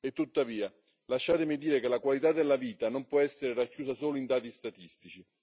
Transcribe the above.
Tuttavia, lasciatemi dire che la qualità della vita non può essere racchiusa solo in dati statistici.